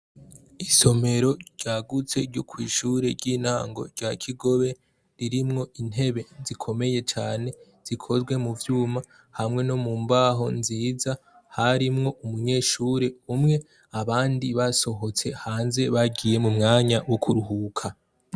Isomero ryagutse ryo kw'ishure ryintango rya kigobe, ririmwo intebe zikomeye cane zikoze muvyuma hamwe no mumbaho nziza harimwo umunyeshure umwe abandi basohotse hanze bagiye mu mwanya wo kuruhuka.